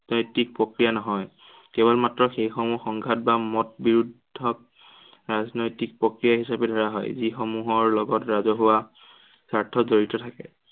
প্ৰক্ৰিয়া নহয়। কেৱল মাত্ৰ সেই সমূহ সংঘাত বা মত বিৰোধক ৰাজনৈতিক প্ৰক্ৰিয়া হিচাপে ধৰা হয়, যি সমূহৰ লগত ৰাজহুৱা স্বাৰ্থ জড়িত থাকে।